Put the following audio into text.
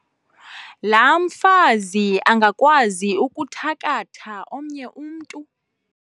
laa mfazi angakwazi ukuthakatha omnye umntu?